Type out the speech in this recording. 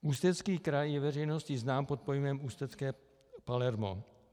Ústecký kraj je veřejnosti znám pod pojmem "ústecké Palermo".